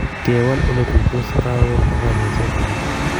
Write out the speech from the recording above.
Kewal oletuitos kawel kokanyaiset ake